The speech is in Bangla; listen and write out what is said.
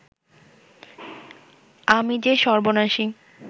আমি যে সর্বনাশী